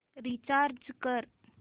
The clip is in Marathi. रीचार्ज कर